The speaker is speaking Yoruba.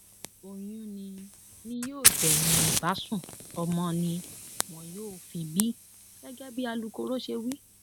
oyún ni ni yóò gbẹyìn ìbásun ọmọ ni wọn yóò fi bí gẹgẹ bí alukoro ṣe wí